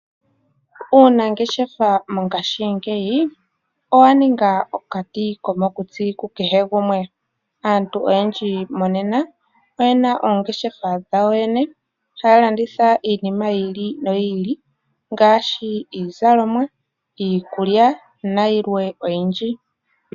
Uunangeshefa mongashingeyi owa ninga okati komokutsi kukehe gumwe. Aantu oyendji monena oye na oongeshefa dhawo yene taya landitha iinima yi ili noyi ili ngaashi iizalomwa, iikulya nayilwe oyindji.